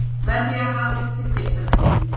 Verja hafið fyrir geislavirkni